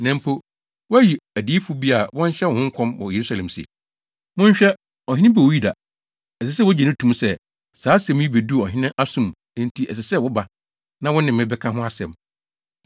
na mpo, woayi adiyifo bi sɛ wɔnhyɛ wo ho nkɔm wɔ Yerusalem se, ‘Monhwɛ! Ɔhene bi wɔ Yuda!’ Ɛsɛ sɛ wugye to mu sɛ, saa asɛm yi beduu ɔhene aso mu, enti ɛsɛ sɛ woba, na wo ne me bɛka ho asɛm.”